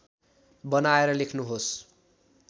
बनाएर लेख्नुहोस्